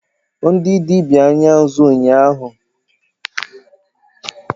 Ndị dibia Anya nzu a-abụ abụ ime ka obi dị chi ụtọ.